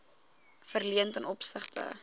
verleen ten opsigte